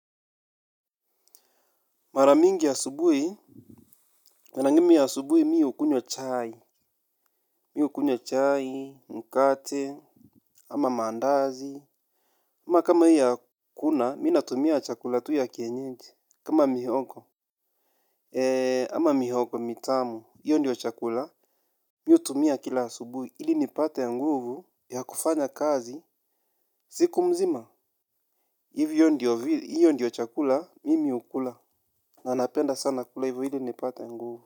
Mara mingi asubuhi mi hukunywa chai, mkate. Ama mandazi ama kama hii hakuna, mi natumia chakula tu ya kienyeji. Kama mihogo Eee ama mihogo mitamu, hiyo ndiyo chakula. Mi hutumia kila asubuhi, ili nipate nguvu ya kufanya kazi, siku mzima. Hivyo ndio, hiyo ndiyo chakula, mimi hukula. Nanapenda sana kula hivyo ili nipate nguvu.